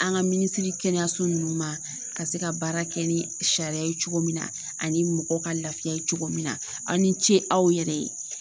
An ka minisiri kɛnɛyaso ninnu ma ka se ka baara kɛ ni sariya ye cogo min na ani mɔgɔw ka lafiya ye cogo min na aw ni ce aw yɛrɛ ye